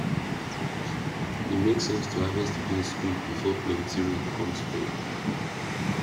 e make sense to harvest beans quick before plenty rain come spoil am